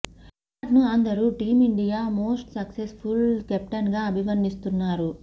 విరాట్ ను అందరూ team India most successful captain గా అభివర్ణిస్తున్నారు